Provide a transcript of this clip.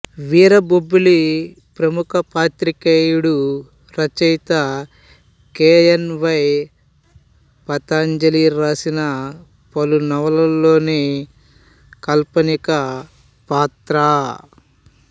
వీరబొబ్బిలి ప్రముఖ పాత్రికేయుడు రచయిత కె ఎన్ వై పతంజలి రాసిన పలు నవలల్లోని కాల్పనిక పాత్ర